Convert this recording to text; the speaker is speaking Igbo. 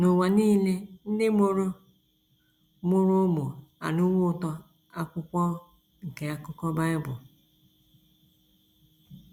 N’ụwa nile ndị mụrụ mụrụ ụmụ anụwo ụtọ Akwukwọm nke Akukọ Bible.